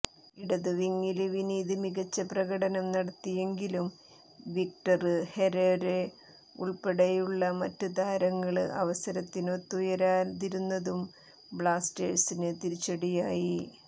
ഇടതുവിംഗില് വിനീത് മികച്ച പ്രകടനം നടത്തിയെങ്കിലും വിക്ടര് ഹെരേര ഉള്പ്പെടെയുള്ള മറ്റ് താരങ്ങള് അവസരത്തിനൊത്തുയരാതിരുന്നതും ബ്ലാസ്റ്റേഴ്സിന് തിരിച്ചടിയായി